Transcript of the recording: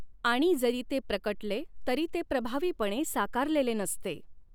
आणि जरी ते प्रकटले तरी ते प्रभावी पणए साकारलेले नसते.